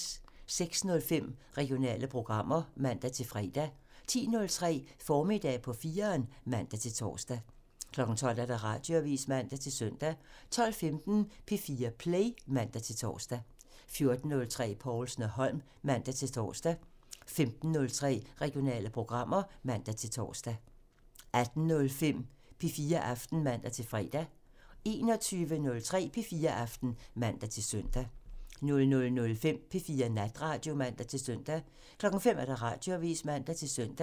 06:05: Regionale programmer (man-fre) 10:03: Formiddag på 4'eren (man-tor) 12:00: Radioavisen (man-søn) 12:15: P4 Play (man-tor) 14:03: Povlsen & Holm (man-tor) 15:03: Regionale programmer (man-tor) 18:05: P4 Aften (man-fre) 21:03: P4 Aften (man-søn) 00:05: P4 Natradio (man-søn) 05:00: Radioavisen (man-søn)